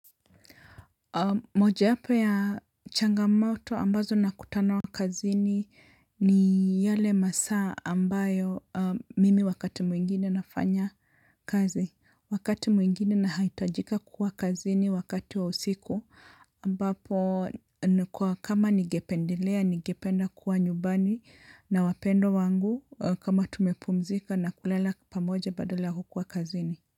Moja yapo ya changamato ambazo nakutana kazini ni yale masa ambayo mimi wakati mwingine nafanya kazi wakati mwingine nahitajika kuwa kazini wakati wa usiku ambapo nikuwa kama ningependelea nigependa kuwa nyumbani na wapendo wangu kama tumepumzika na kulala pamoja badala kukuwa kazini.